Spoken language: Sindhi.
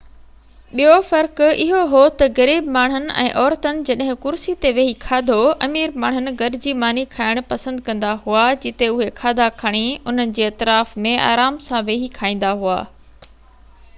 ٻيو فرق اهو هو ته غريب ماڻهن ۽ عورتن جڏهن ڪرسي تي ويهي کاڌو امير ماڻهن گڏجي ماني کائڻ پسند ڪندا هئا جتي اهي کاڌا کڻي انهن جي اطراف ۾ آرام سان ويهي کائيندا هئا